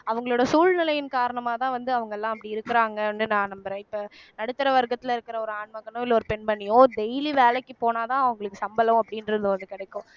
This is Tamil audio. அவங்களோட சூழ்நிலையின் காரணமாக தான் வந்து அவங்க எல்லாம் அப்படி இருக்கிறாங்கன்னு நான் நம்புறேன் இப்ப நடுத்தர வர்க்கத்துல இருக்கிற ஒரு ஆண் மகனோ இல்லை ஒரு பெண்மணியோ daily வேலைக்கு போனால்தான் அவங்களுக்கு சம்பளம் அப்படின்றது ஒண்ணு கிடைக்கும்